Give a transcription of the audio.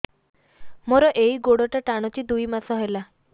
ମୋର ଏଇ ଗୋଡ଼ଟା ଟାଣୁଛି ଦୁଇ ମାସ ହେଲା